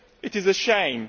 it is a shame